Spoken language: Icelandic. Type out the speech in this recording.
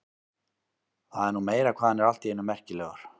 Það er nú meira hvað hann er allt í einu merkilegur.